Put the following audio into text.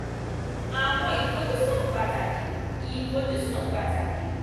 àwọn ìfojúsí pàtàkì ìfojúsí pàtàkì